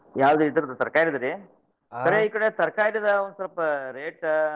ಯಾವ್ದ್ ಇದರ್ದ್ ತರಕಾರಿದ್ ರೀ? ಕರೆ ಈಕಡೆ ತರಕಾರಿದ್, ಒಂದ್ ಸ್ವಲ್ಪ rate .